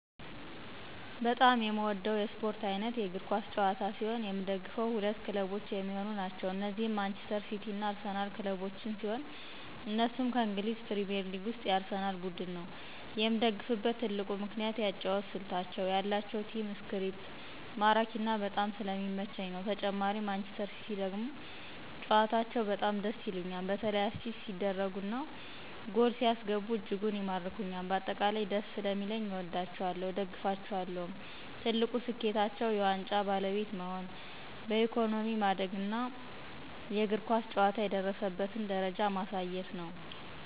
በጣም የምወደው የስፖርት አይነት የእግር ኳስ ጨዋታ ሲሆን የምደግፈው ሁለት ክለቦች የሚሆኑ ናቸው እነዚህም ማንጅስተር ሲቲ እና አርሲናል ክለቦችን ሲሆን እነሱም ከእንግሊዝ ፕሪሜርሊግ ውስጥ የአርሴናል ቡድን ነው የምደግፍበት ትልቁ ምክንያት የአጨዋወት ስልታቸው የአላቸው ቲም እስፕሪት ማራኪና በጣም ስለሚመቸኝ ነው ተጨማሪ ማንጅስተር ሲቲ ደግሞ ጨዋታቸው በጣም ደስ ይሉኞል በተላ አሲስት ሲደርጉ እና ጎል ሲያስገቡ እጅጉን ይማርኩኞል በአጠቃላይ ደስ ሰለሚለኝ አወዳቸዋለሁ እደግፋቸዋለሁም። ትልቁ ስኬታቸው የዋንጫ ባለቤት መሆን በኢኮኖሚ ማደግና የእግር ኳስ ጨዋታ የደረሰበትን ደረጃ ማሳየት ነው።